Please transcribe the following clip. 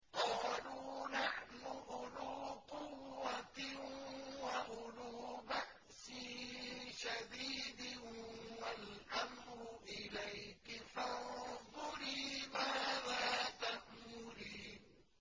قَالُوا نَحْنُ أُولُو قُوَّةٍ وَأُولُو بَأْسٍ شَدِيدٍ وَالْأَمْرُ إِلَيْكِ فَانظُرِي مَاذَا تَأْمُرِينَ